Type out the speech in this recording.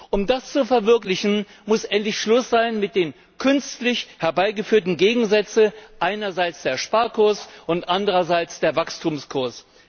Um das zu verwirklichen, muss endlich Schluss sein mit den künstlich herbeigeführten Gegensätzen einerseits der Sparkurs und andererseits der Wachstumskurs.